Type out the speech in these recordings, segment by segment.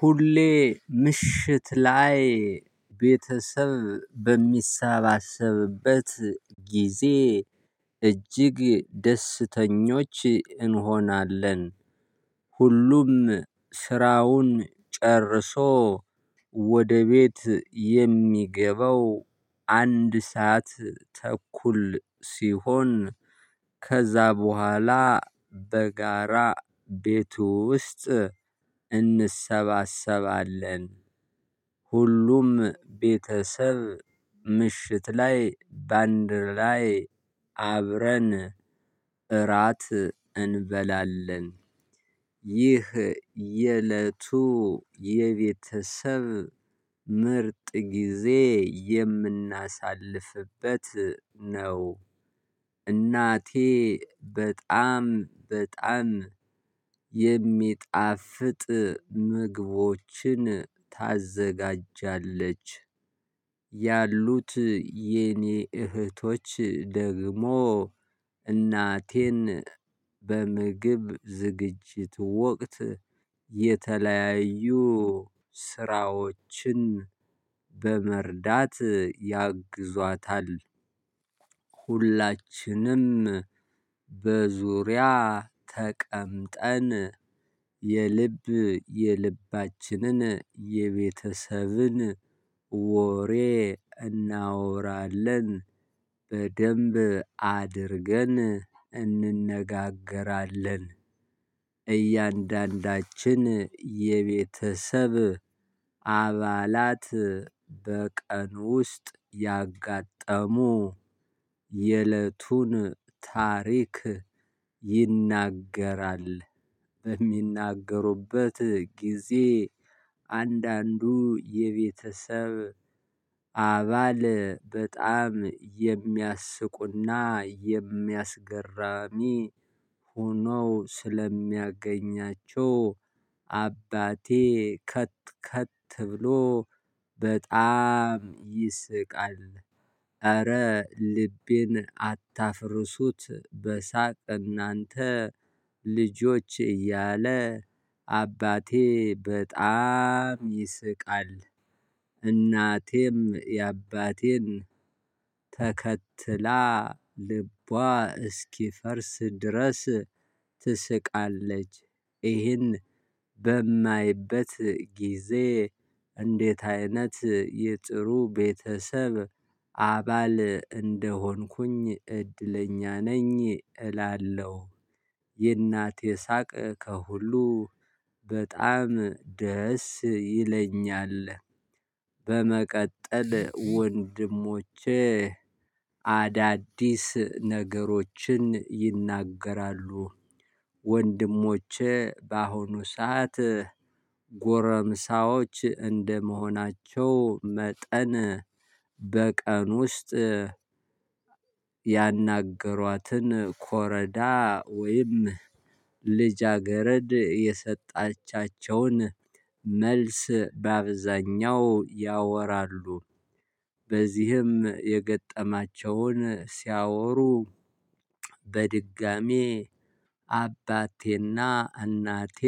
ሁሌ ምሽት ላይ ቤተሰብ በሚሳባሰብበት ጊዜ እጅግ ደስተኞች እንሆናለን። ሁሉም ስራውን ጨርሶ ወደ ቤት የሚገባው አንድ ሰዓት ተኩል ሲሆን ከዛ በኋላ በጋራ ቤቱ ውስጥ እንሰባሰባለን። ሁሉም ቤተሰብ ምሽት ላይ ባንድር ላይ አብረን እራት እንበላለን። ይህ የእለቱ የቤተሰብ ምርጥ ጊዜ የምናሳልፍበት ነው። እናቴ በጣም በጣም የሚጣፍጥ ምግቦችን ታዘጋጃለች። ያሉት የኔ እህቶች ደግሞ እናቴን በምግብ ዝግጅት ወቅት የተለያዩ ስራዎችን በመርዳት ያግዟታል። ሁላችንም በዙሪያ ተቀምጠን የልብ የልባችንን የቤተሰብን ወሬ እናወራለን። በደንብ አድርገን እንነጋገራለን። እያንዳንዳችን የቤተሰብ አባላት በቀን ውስጥ ያጋጠሙ የእለቱን ታሪክ ይናገራል። በሚናገሩበት ጊዜ አንዳንዱ የቤተሰብ አባል በጣም የሚያስቁና የሚያስገራሚ ሆኖ ስለሚያገኛቸው አባቴ ከት ከት ብሎ በጣም ይስቃል። ኧረ ልቤን አታፍርሱት በሳቅ እናንተ ልጆች እያለ አባቴ በጣም ይስቃል። እናቴም የአባቴን ተከትላ ልቧ እስኪፈርስ ድረስ ትስቃለች። ይህን በማይበት ጊዜ እንዴት አይነት የጥሩ ቤተሰብ አባል እንደሆንኩኝ እድለኛ ነኝ እላለሁ። የእናቴ ሳቅ ከሁሉ በጣም ደስ ይለኛል። በመቀጠል ወንድሞቼ አዳዲስ ነገሮችን ይናገራሉ። ወንድሞቼ በአሁኑ ሰዓት ጎረምሳዎች እንደመሆናቸው መጠን በቀን ውስጥ ያናገሯትን ኮረዳ ወይም ልጃገረድ የሰጣቻቸውን መልስ በአብዛኛው ያወራሉ። በዚህም የገጠማቸውን ሲያወሩ በድጋሚ አባቴና እናቴ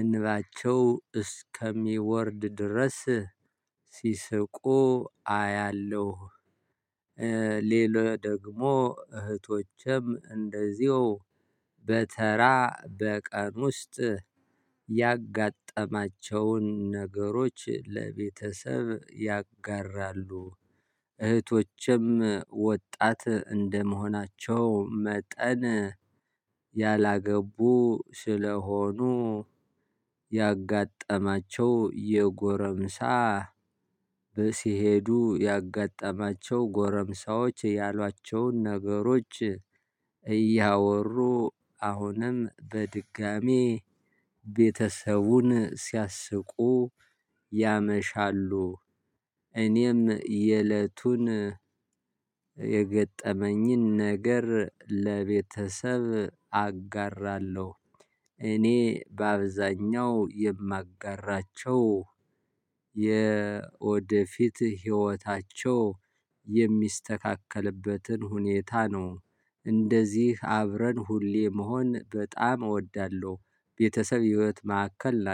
እንባቸው እስከሚወርድ ድረስ ሲስቁ አያለሁ። ሌላ ደግሞ እህቶችም እንደዚሁ በተራ በቀን ውስጥ ያጋጠማቸውን ነገሮች ለቤተሰብ ያጋራሉ። እህቶችም ወጣት እንደመሆናቸው መጠን ያላገቡ ስለሆኑ ያጋጠማቸው የጎረምሳ በሲሄዱ ያጋጠማቸው ጎረምሳዎች ያሏቸውን ነገሮች እያወሩ አሁንም በድጋሚ ቤተሰቡን ሲያስቁ ያመሻሉ። እኔም የእለቱን የገጠመኝን ነገር ለቤተሰብ አጋራለሁ። እኔ በአብዛኛው የማጋራቸው የወደፊት ህይወታቸው የሚስተካከልበትን ሁኔታ ነው። እንደዚህ አብረን ሁሌ መሆን በጣም እወዳለሁ ቤተሰብ የህይወት ማዕከል